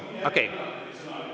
Okei.